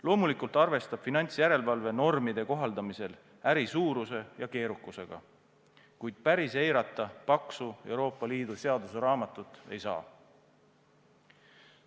Loomulikult arvestab finantsjärelevalve normide kohaldamisel äri suuruse ja keerukusega, kuid päris eirata paksu Euroopa Liidu seaduse raamatut ei saa.